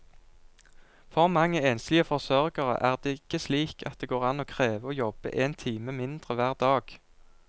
For mange enslige forsørgere er det ikke slik at det går an å kreve å jobbe én time mindre hver dag.